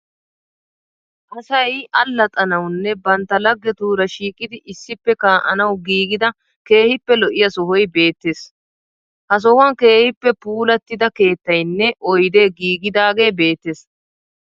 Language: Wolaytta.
Asay allaxxanawunne bantta laggetuura shiiqidi issippe kaa'anawu giigida keehippe lo'iya sohoy beettees. Ha sohuwan keehippe puullatida keettayinne oyidee giigidagee beettees.